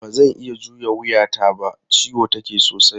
Ba zan iya juya wuyata ba, ciwo take sosai.